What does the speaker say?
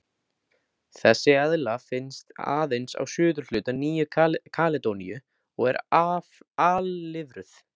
Þessi eðla finnst aðeins á suðurhluta Nýju-Kaledóníu og er alfriðuð.